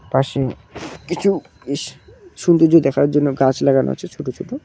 পাশে কিছু ইশ সুন্দর্য দেখানোর জন্য গাছ লাগানো আছে ছুটো ছুটো।